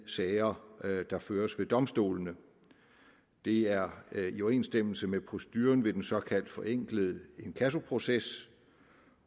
sager der føres ved domstolene det er i overensstemmelse med proceduren ved den såkaldt forenklede inkassoproces